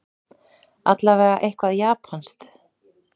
Allavega eitthvað japanskt.